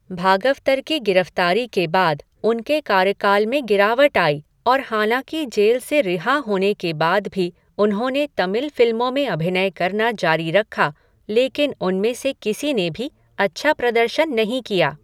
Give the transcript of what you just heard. भागवतर की गिरफ़्तारी के बाद उनके कार्यकाल में गिरावट आई और हालाँकि जेल से रिहा होने के बाद भी उन्होंने तमिल फ़िल्मों में अभिनय करना जारी रखा, लेकिन उनमें से किसी ने भी अच्छा प्रदर्शन नहीं किया।